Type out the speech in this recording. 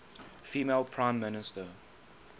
female prime minister